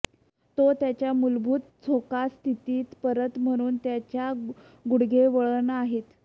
तो त्याच्या मूलभूत झोका स्थितीत परत म्हणून त्याच्या गुडघे वळण आहेत